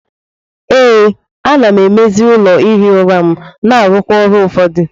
Ee, a-na emezi ụlọ ihi ụra m na-arụkwa ọrụ ụfọdụ.